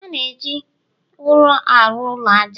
a na-eji ụrọ arụ ụlọ aja